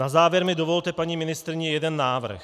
Na závěr mi dovolte, paní ministryně, jeden návrh.